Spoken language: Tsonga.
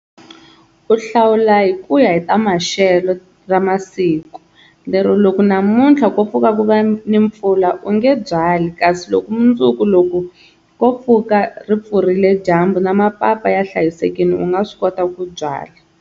Ku hlawula hi ku ya hi ta maxelo ra masiku, lero loko namuntlha ko pfuka ku va ni mpfula u nge byali kasi loko mundzuku loko ko pfuka ri pfurile dyambu na mapapa ya hlayisekile u nga swi kota ku byala.